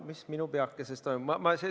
Mis minu peakeses toimub?